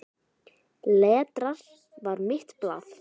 Letrað var mitt blað.